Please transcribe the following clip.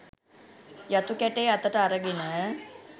යතු කැටේ අතට අරගෙන